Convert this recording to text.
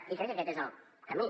i crec que aquest és el camí